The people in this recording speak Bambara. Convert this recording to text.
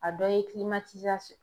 A dɔ ye